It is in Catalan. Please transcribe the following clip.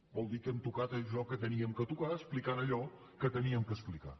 vol dir que hem tocat allò que havíem de tocar explicant allò que havíem d’explicar